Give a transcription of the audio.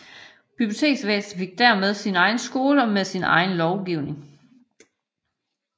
Biblioteksvæsenet fik dermed sin egen skole med sin egen lovgivning